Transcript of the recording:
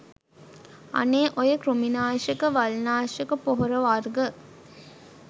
අනේ ඔය කෘමිනාශක වල්නාශක පොහොර වර්ග